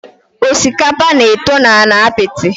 Osikapa na-eto na ala apiti.